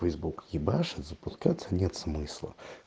фэйсбук ебашит запускаться нет смысла